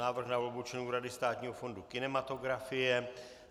Návrh na volbu členů Rady Státního fondu kinematografie